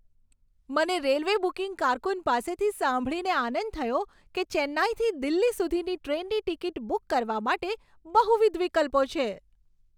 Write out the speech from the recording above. મને railway booking કારકુન પાસેથી સાંભળીને આનંદ થયો કે ચેન્નાઈથી દિલ્હી સુધીની ટ્રેનની ટિકિટ બુક કરવા માટે બહુવિધ વિકલ્પો છે.